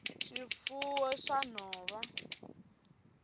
swifuwo swa nhova